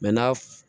n'a